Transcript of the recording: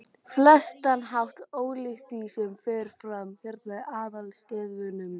flestan hátt ólíkt því, sem fer fram hérna í aðalstöðvunum.